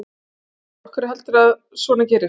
Magnús: Af hverju heldurðu að svona gerist?